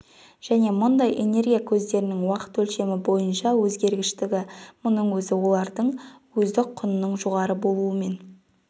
және мұндай энергия көздерінің уақыт өлшемі бойынша өзгергіштігі мұның өзі олардың өздік құнының жоғары болумен